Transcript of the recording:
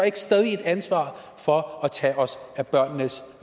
ikke stadig et ansvar for at tage os af børnenes